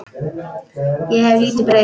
Ég hef lítið breyst.